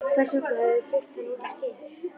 Hvers vegna höfðu þeir flutt hann út á skip?